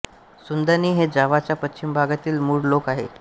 सुंदानी हे जावाच्या पश्चिम भागातील मूळ लोक आहेत